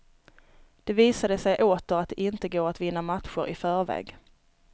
Det visade sig åter att det inte går att vinna matcher i förväg.